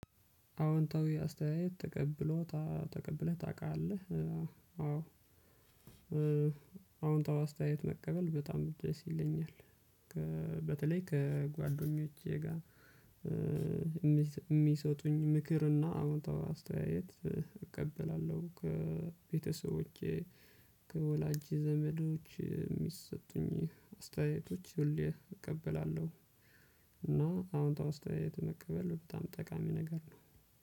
አዎንታዊ አስተያየት ተቀብሎ ታ ተቀብለህ ታውቃለህ? አዎ። አዎንታዊ አስተያየት መቀበል በጣም ደስ ይለኛል። ከ በተለይ ከጓደኞቼ ጋር። የሚ የሚሰጡኝን ምክር እና አወንታዊ አስተያየት። እቀበላለሁ ከቤተሰቦቼ ከወላጅ ዘመዶች የሚሰጡኝ አስተያየቶች ሁሌ እቀበላለሁ። እና አዎንታዊ አስተያየት መቀበል በጣም ጠቃሚ ነገር ነው።